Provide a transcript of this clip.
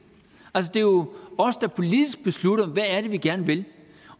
det er jo os der politisk beslutter hvad vi gerne vil